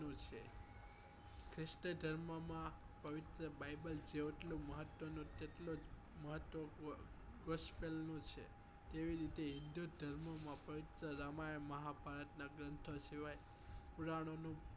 ખ્રિસ્તી ધર્મ માં પવિત્ર બાઈબલ જેટલું મહત્વ નું તેટલું જ મહત્વ નું વંશ વેલ નું છે એવી રીતે હિન્દુધર્મ માં પવિત્ર રામાયણ મહાભારત નાં ગ્રંથો સિવાય પુરાણો નું